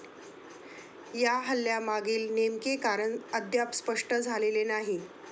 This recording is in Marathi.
या हल्ल्यामागील नेमके कारण अद्याप स्पष्ट झालेले नाही.